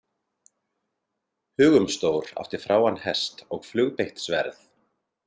Hugumstór átti fráan hest og flugbeitt sverð.